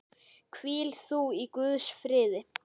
Hvíl þú í Guðs friði.